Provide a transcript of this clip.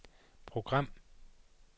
program